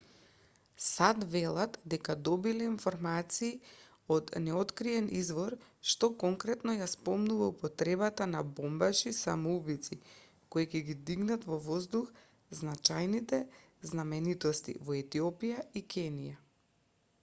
сад велат дека добиле информации од неоткриен извор што конкретно ја спомнува употребата на бомбаши-самоубијци кои ќе ги дигнат во воздух значајните знаменитости во етиопија и кенија